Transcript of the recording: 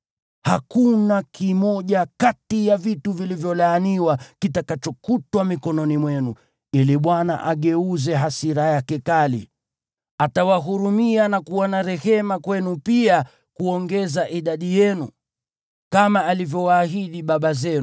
Hakuna kimoja kati ya vitu vilivyolaaniwa kitakachokutwa mikononi mwenu, ili Bwana ageuze hasira yake kali. Atawahurumia na kuwa na rehema kwenu pia kuongeza idadi yenu, kama alivyowaahidi baba zenu,